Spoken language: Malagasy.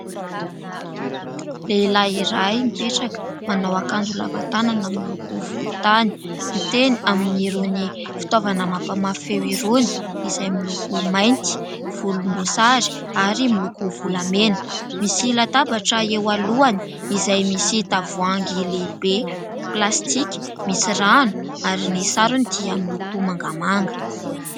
Lehilahy iray mipetraka, manao akanjo lava tanana miloko volontany, miteny amin'irony fitaovana mampamafy feo irony izay miloko mainty, volomboasary ary miloko volamena. Misy latabatra eo alohany izay misy tavoahangy lehibe plastika, misy rano ary ny sarony dia miloko mangamanga.